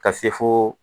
Ka se fo